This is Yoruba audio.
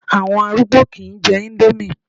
Àwọn arúgbó kìí jẹ índómì